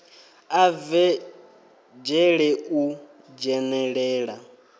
a bve dzhele u dzhenelela